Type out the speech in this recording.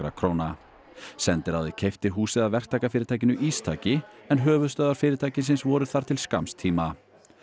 króna sendiráðið keypti húsið af verktakafyrirtækinu Ístaki en höfuðstöðvar fyrirtækisins voru þar til skamms tíma